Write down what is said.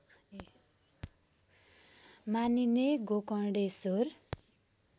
मानिने गोकर्णेश्वर